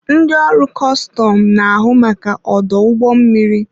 Ndị ọrụ kọstọm na-ahụ maka ọdụ ụgbọ mmiri.